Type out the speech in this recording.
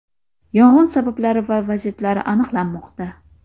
Yong‘in sabablari va vaziyatlari aniqlanmoqda.